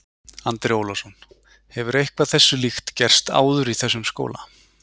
Andri Ólafsson: Hefur eitthvað þessu líkt gerst áður í þessum skóla?